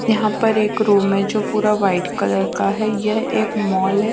यहां पर एक रूम है जो पूरा व्हाइट कलर का है यह एक मॉल है।